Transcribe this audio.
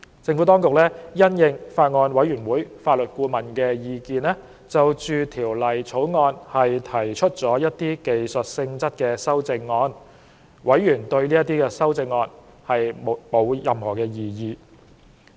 政府當局因應法案委員會法律顧問的意見，就《條例草案》提出了一些技術性質的修正案，委員對這些修正案沒有異議。